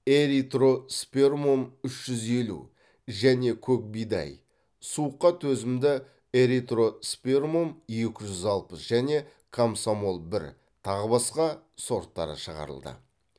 эритроспермум үш жүз елу және көкбидай суыққа төзімді эритроспермум екі жүз алпыс және комсомол бір тағы басқа сорттары шығарылды